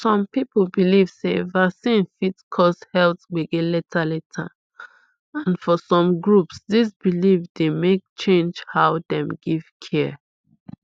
some people believe sey vaccine fit cause health gbege later later and for some groups this belief dey make change how dem give care